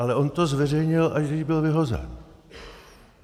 Ale on to zveřejnil, až když byl vyhozen.